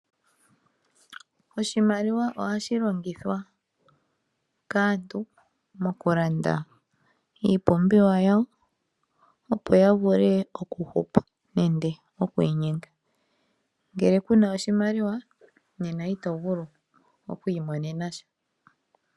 Oshimaliwa ohashi longithwa kaantu mokulanda iipumbiwa yawo opo ya vule oku hupa nenge okwiinyenga. Ngele kuna oshimaliwa nena ito vulu oku imonena sha.